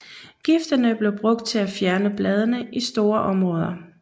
Giftene blev brugt til at fjerne bladene i store områder